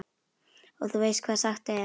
Og þú veist hvað sagt er?